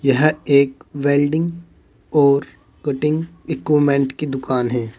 यह एक वेल्डिंग और कटिंग इक्विपमेंट की दुकान है।